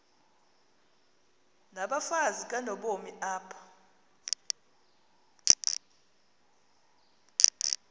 nabafazi kanobomi apha